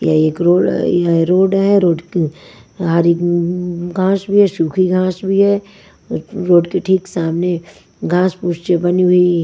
यह एक रोड यह रोड है रोड अ हरी घास भी है सूखी घास भी है रोड के ठीक सामने घास पूछे बनी हुई --